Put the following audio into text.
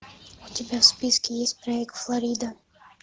у тебя в списке есть проект флорида